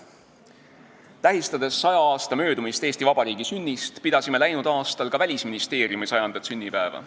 Tähistades 100 aasta möödumist Eesti Vabariigi sünnist, pidasime läinud aastal ka Välisministeeriumi 100. sünnipäeva.